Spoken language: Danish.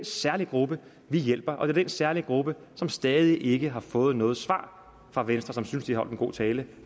særlige gruppe vi hjælper og det er den særlige gruppe som stadig ikke har fået noget svar fra venstre som synes at de holdt en god tale